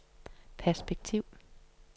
perspektiv